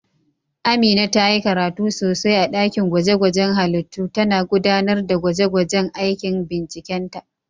Amina ta yi karatu sosai a dakin gwaje-gwajen halittu, tana gudanar da gwaje-gwajen aikin bincikenta.